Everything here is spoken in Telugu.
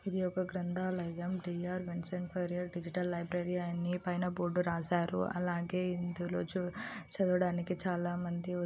ఇది ఒక్క గ్రంధాలయం. D R Vincent Ferrer digital library అని పైన బోర్డు రాశారు. అలాగే ఇందులో చు చూడటానికి చాలా మంది వస్--